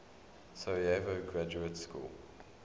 sarajevo graduate school